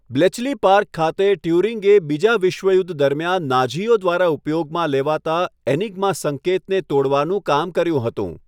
Bletchley Park ખાતે, ટ્યુરિંગે બીજા વિશ્વયુદ્ધ દરમિયાન નાઝીઓ દ્વારા ઉપયોગમાં લેવાતા એનિગ્મા સંકેતને તોડવાનું કામ કર્યું હતું.